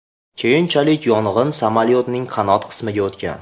Keyinchalik yong‘in samolyotning qanot qismiga o‘tgan.